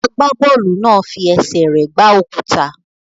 Agbábọ́ọ̀lù náà fi ẹsẹ̀ rẹ̀ gbá òkúta.